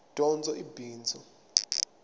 dyondzo i bindzu